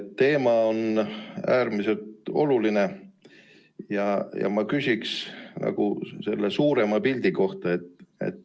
See teema on äärmiselt oluline ja ma küsiksin selle suurema pildi kohta.